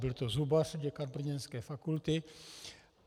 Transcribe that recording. Byl to zubař, děkan brněnské fakulty.